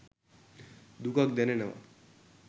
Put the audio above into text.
දුකක් දැනෙනව